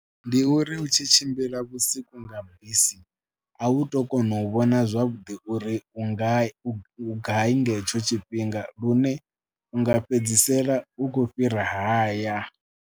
Ndi uri hu tshi tshimbila vhusiku nga bisi a u tou kona u vhona zwavhuḓi uri u nga, u gai nga hetsho tshifhinga lune u nga fhedzisela u khou fhira haya.